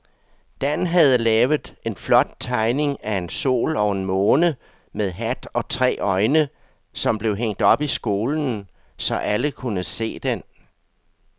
Dan havde lavet en flot tegning af en sol og en måne med hat og tre øjne, som blev hængt op i skolen, så alle kunne se den.